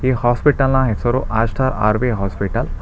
ಈ ಹಾಸ್ಪಿಟಲ್ನ ಹೆಸರು ಆಸ್ಟೆರ್ ಆರ್ ವಿ ಹಾಸ್ಪಿಟಲ್ .